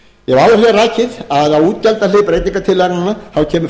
að á útgjaldahlið breytingartillagnanna kemur fyrst og fremst